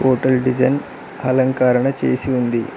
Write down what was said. Hotel design అలంకరణ చేసి ఉంది.